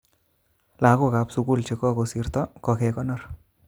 Lagok kap sukul chekokosirto kokokekonor